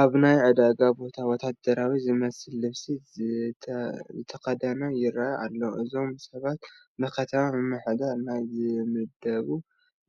ኣብ ናይ ዕዳጋ ቦታ ወታደራዊ ዝመስል ልብሲ ዝተኸደኑ ይርአዩ ኣለዉ፡፡ እዞም ሰባት ብከተማ ምምሕዳር ናይ ዝምደቡ